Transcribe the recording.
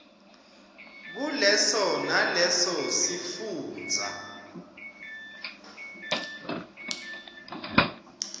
kuleso naleso sifundza